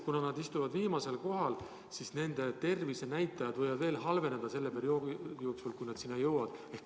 Kuna nad on viimasel kohal, siis nende tervisenäitajad võivad veel halveneda selle perioodi jooksul, kuni nad arsti juurde jõuavad.